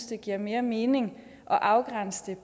det giver mere mening at afgrænse det